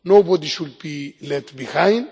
Nobody should be left behind.